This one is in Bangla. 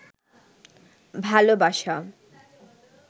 ভালোবাসা